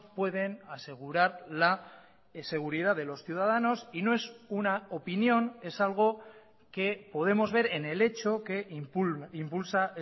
pueden asegurar la seguridad de los ciudadanos y no es una opinión es algo que podemos ver en el hecho que impulsa